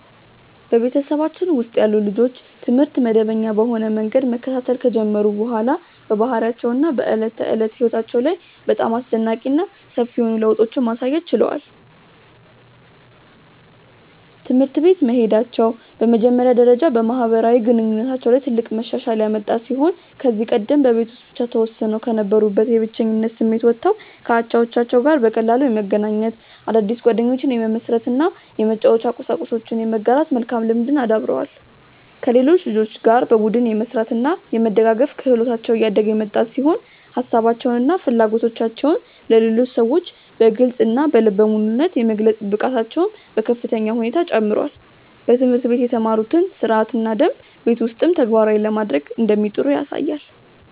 በቤተሰባችን ውስጥ ያሉ ልጆች ትምህርት መደበኛ በሆነ መንገድ መከታተል ከጀመሩ በኋላ በባህሪያቸው እና በዕለት ተዕለት ሕይወታቸው ላይ በጣም አስደናቂ እና ሰፊ የሆኑ ለውጦችን ማሳየት ችለዋል። ትምህርት ቤት መሄዳቸው በመጀመሪያ ደረጃ በማህበራዊ ግንኙነታቸው ላይ ትልቅ መሻሻል ያመጣ ሲሆን ከዚህ ቀደም በቤት ውስጥ ብቻ ተወስነው ከነበሩበት የብቸኝነት ስሜት ወጥተው ከአቻዎቻቸው ጋር በቀላሉ የመገናኘት፣ አዳዲስ ጓደኞችን የመመስረት እና የመጫወቻ ቁሳቁሶችን የመጋራት መልካም ልምድን አዳብረዋል። ከሌሎች ልጆች ጋር በቡድን የመስራት እና የመደጋገፍ ክህሎታቸው እያደገ የመጣ ሲሆን ሀሳባቸውን እና ፍላጎቶቻቸውን ለሌሎች ሰዎች በግልፅ እና በልበ ሙሉነት የመግለጽ ብቃታቸውም በከፍተኛ ሁኔታ ጨምሯል። በትምህርት ቤት የተማሩትን ሥርዓትና ደንብ ቤት ውስጥም ተግባራዊ ለማድረግ እንደሚጥሩ ያሳያል።